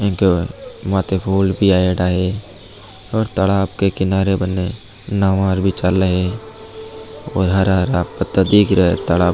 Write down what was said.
एक माथे फूल भी आइडा है और तालाब की किनारे बने नावा भी चाले है और हरा हरा पत्ता दीख रा है तालाब --